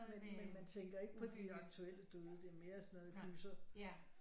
Men man tænker ikke på de aktuelle døde det er mere sådan noget gyser